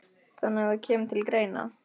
Þannig að það kemur til greina?